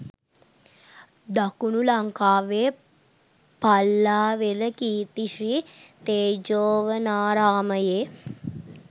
දකුණු ලංකාවේ පල්ලාවෙල කීර්ති ශ්‍රී තේජෝවනාරාමයේ